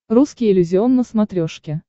русский иллюзион на смотрешке